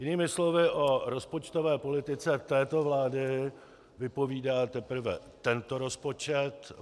Jinými slovy, o rozpočtové politice této vlády vypovídá teprve tento rozpočet.